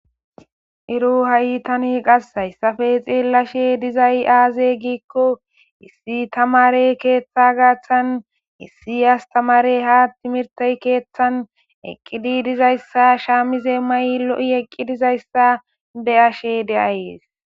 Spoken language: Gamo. Ero qa tan hai qas hayisape xelashe dizayis aze giiko issi tamare ketha garisan issi astamare eqidayisa shamize mayidi lo'i eqizaysa be'ashe de'ays